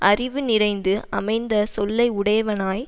அறிவு நிறைந்து அமைந்த சொல்லை உடையவனாய்